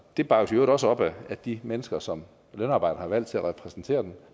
det bakkes i øvrigt også op af de mennesker som lønarbejderne har valgt til at repræsentere dem